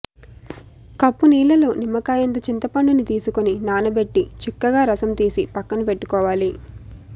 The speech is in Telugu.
కప్పు నీళ్లలో నిమ్మకాయంత చింతపండుని తీసుకుని నానబెట్టి చిక్కగా రసం తీసి పక్కనపెట్టుకోవాలి